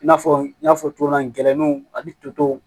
I n'a fɔ n y'a fɔ cogo min na gɛlɛninw ani totow